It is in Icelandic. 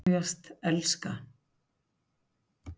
Út, út með þessa tilfinningasemi: sameinast, umvefjast, elska.